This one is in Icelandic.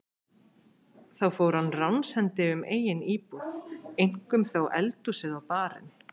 Þá fór hann ránshendi um eigin íbúð, eink- um þó eldhúsið og barinn.